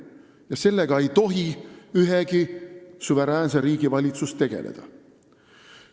Ja sellega ei tohi ühegi suveräänse riigi valitsus tegeleda.